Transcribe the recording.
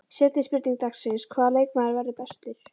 Seinni spurning dagsins: Hvaða leikmaður verður bestur?